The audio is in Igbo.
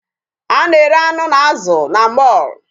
A na-ere anụ na azụ na mall.